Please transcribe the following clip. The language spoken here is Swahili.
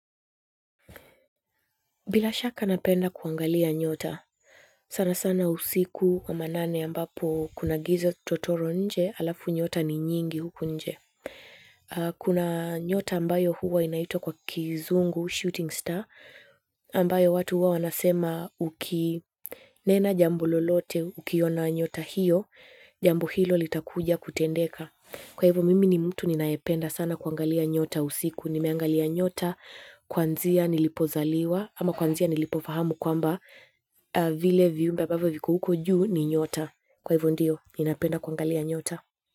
Bila shaka napenda kuangalia nyota, sana sana usiku wa manane ambapo kuna giza totoro nje halafu nyota ni nyingi huku nje. Kuna nyota ambayo huwa inaitwa kwa kizungu shooting star ambayo watu huwa wanasema ukinena jambo lolote ukiona nyotabhiyo jambo hilo litakuja kutendeka kwa hivyo mimi ni mtu ninayopenda sana kuangalia nyota usiku. Nimeangalia nyota kwanzia nilipozaliwa ama kwanzia nilipofahamu kwamba vile viumbe ambavyo viko huko juu ni nyota. Kwa hivyo ndyo ninapenda kuangalia nyota.